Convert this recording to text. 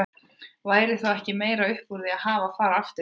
Væri þá ekki meira upp úr því að hafa að fara aftur í vist?